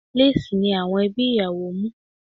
Léèsì ni àwọn ẹbí ìyàwó mú